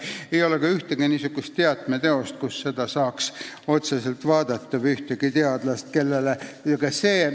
Ei ole ka ühtegi niisugust teatmeteost, kust seda saaks järele vaadata, ega ühtegi teadlast, kellelt küsida.